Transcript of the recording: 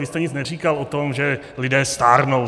Vy jste nic neříkal o tom, že lidé stárnou.